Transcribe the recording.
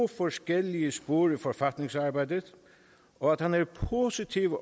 forskellige sproglige forfatningsarbejder og at han er positiv